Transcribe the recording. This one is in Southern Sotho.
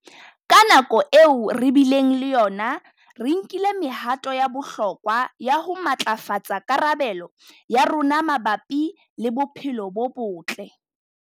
Ka nako eo re bileng le yona, re nkile mehato ya bohlokwa ya ho matlafatsa karabelo ya rona mabapi le bophelo bo botle.